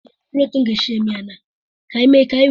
Ehi nwere odịdị ahu nyapade nakwa ogologo ahu akụkụ anọ.